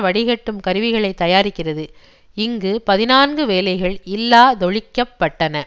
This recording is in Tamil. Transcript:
வடிகட்டும் கருவிகளை தயாரிக்கிறது இங்கு பதினான்கு வேலைகள் இல்லாதொழிக்கப்பட்டன